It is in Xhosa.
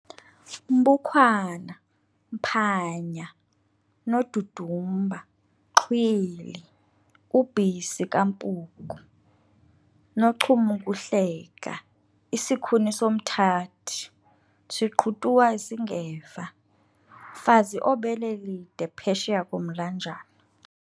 mbukhwana, mphanya, nodudumba, xhwili, ubhisi kampuku, noncum'ukuhleka, isikhuni somthathi siqhutuwa singeva, mfazi obele lide phesheya komlanjana